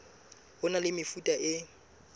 ho na le mefuta e